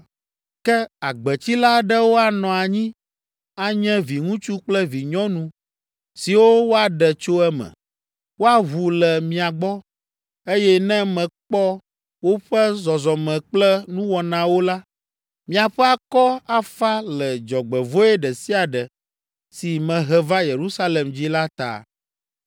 Ke agbetsila aɖewo anɔ anyi anye viŋutsu kple vinyɔnu siwo woaɖe tso eme. Woaʋu le mia gbɔ, eye ne mekpɔ woƒe zɔzɔme kple nuwɔnawo la, miaƒe akɔ afa le dzɔgbevɔ̃e ɖe sia ɖe si mehe va Yerusalem dzi la ta.